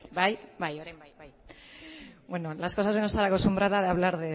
bai bai orain bai bueno las cosas de no estar acostumbrada a hablar